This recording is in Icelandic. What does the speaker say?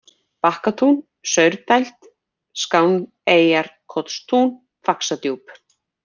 Bakkatún, Saurdæld, Skáneyjarkotstún, Faxadjúp